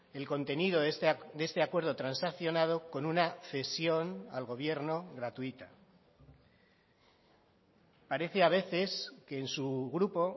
el contenido de este acuerdo transaccionado con una cesión al gobierno gratuita parece a veces que en su grupo